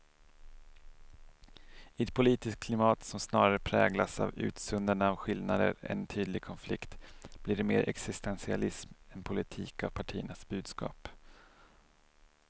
I ett politiskt klimat som snarare präglas av utsuddande av skillnader än tydlig konflikt blir det mer existentialism än politik av partiernas budskap.